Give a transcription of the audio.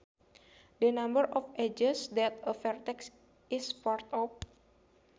The number of edges that a vertex is part of